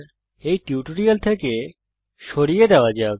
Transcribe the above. এই টিউটোরিয়াল থেকে input bar সরিয়ে দেওয়া যাক